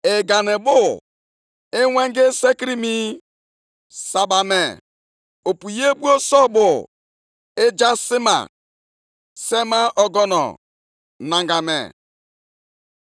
I sitere nʼọnụma gị zọgharịa ije nʼụwa, sitekwa nʼiwe gị zọchaa mba dị iche iche dịka ọka.